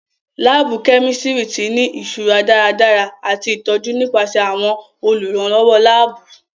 Laabu kẹ́místrì ti ni iṣura daradara ati itọju nipasẹ àwọn olùrànlọwọ laabu.